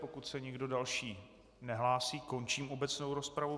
Pokud se nikdo další nehlásí, končím obecnou rozpravu.